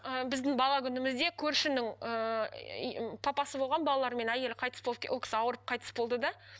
ы біздің бала күнімізде көршінің ііі папасы болған балалары мен әйелі қайтыс болып ол кісі ауырып қайтыс болды да